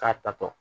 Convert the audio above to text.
K'a tatɔ